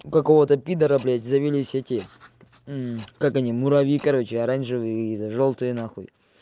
у какого-то пидора блядь завелись эти как они муравьи короче оранжевые и жёлтые нахуй